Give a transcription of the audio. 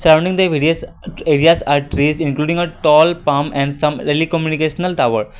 Surrounding the various areas are trees including a tall palm and some early communication tower.